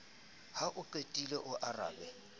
ha o qetile o arabe